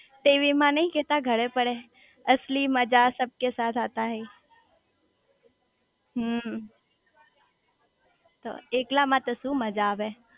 TV માં નઈ કેતા ઘરે પડે અસલી મજા સબકે સાથ આતા હે હમ્મ તો એકલા માં તો શુ મજા આવે